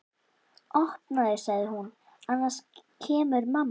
Opnaðu sagði hún, annars kemur mamma